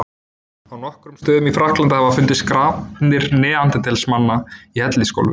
Á nokkrum stöðum í Frakklandi hafa fundist grafir neanderdalsmanna í hellisgólfum.